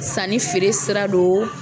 Sannifeere sira don